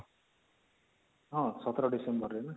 ହଁ ୧୭ December ରେ ନା